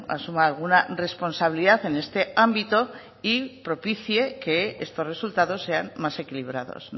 asuma alguna responsabilidad en este ámbito y propicie que estos resultados sean más equilibrados